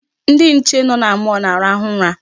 Ndị nche nọ na mall na-arahụ ụra.